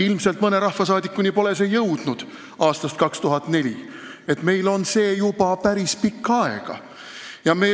Ilmselt pole see mõne rahvasaadikuni jõudnud, ehkki see on ka meil juba päris pikka aega, aastast 2004.